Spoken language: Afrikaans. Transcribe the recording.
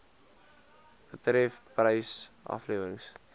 betref prys aflewering